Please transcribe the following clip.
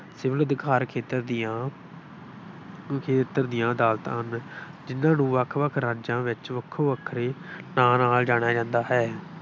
Civil ਅਧਿਕਾਰ ਖੇਤਰ ਦੀਆਂ ਦੀਆਂ ਅਦਾਲਤਾਂ ਹਨ। ਜਿੰਨ੍ਹਾ ਨੂੰ ਵੱਖ ਵੱਖ ਰਾਜਾਂ ਵਿੱਚ ਵੱਖੋ ਵੱਖਰੇ ਨਾਂ ਨਾਲ ਜਾਣਿਆ ਜਾਂਦਾ ਹੈ।